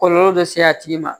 Kɔlɔlɔ dɔ se a tigi ma